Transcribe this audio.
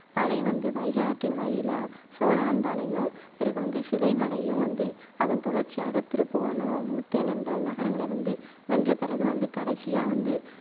படை வந்து வைகை ஆற்றின் வழியில சோழவந்தானையும், பிறகு வந்து சிறைமலையும் வந்து அதன் தொடர்ச்சியாக திருப்புவனம், முத்தனேந்தல், நகரங்களை வந்து வென்ற பிறகு, வந்து கடைசியா வந்து